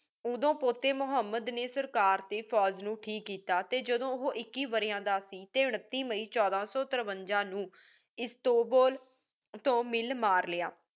ਓਦੋ ਪੋਟੀ ਮੁਹਮ੍ਮਦ ਨੀ ਸਰਕਾਰ ਟੀ ਫੋਜ ਨੂ ਠੀਕ ਕੀਤਾ ਟੀ ਜਿਦੋ ਓਹੋ ਇਕੀਸ ਵਾਰੀਆਂ ਦਾ ਸੇ ਟੀ ਉਨਿਤਿਸ ਮਈ ਛੋਡਾ ਸੋ ਤੁਰ੍ਵਾਂਜਾ ਨੂ ਇਸ੍ਤਾਬੁਲ ਤੂ ਮਿਲ ਮਾਰ ਲ੍ਯ